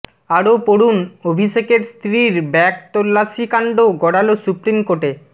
আরো পড়ুন অভিষেকের স্ত্রীর ব্যাগ তল্লাশিকাণ্ড গড়াল সুপ্রিম কোর্টে